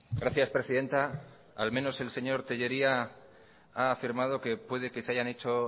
gracias presidenta al menos el señor tellería ha afirmado que puede que se hayan hecho